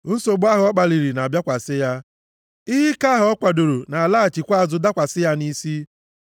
Nsogbu ahụ ọ kpaliri na-abịakwasị ya ihe ike ahụ ọ kwadooro na-alaghachikwa azụ dakwasị ya nʼisi.